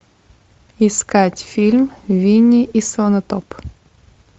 искать фильм винни и слонотоп